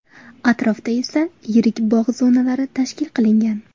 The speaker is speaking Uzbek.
Atrofda esa yirik bog‘ zonalari tashkil qilingan.